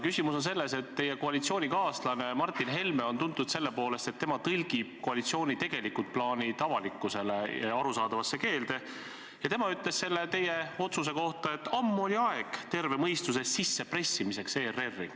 Küsimus on selles, et teie koalitsioonikaaslane Martin Helme on tuntud selle poolest, et tema tõlgib koalitsiooni tegelikud plaanid avalikkusele arusaadavasse keelde, ja tema ütles selle otsuse kohta, et ammu oli aeg terve mõistus ERR-i sisse pressida.